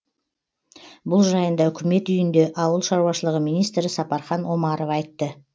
бұл жайында үкімет үйінде ауыл шаруашылығы министрі сапархан омаров айтты